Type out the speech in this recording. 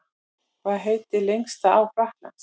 Hvað heitir lengsta á Frakklands?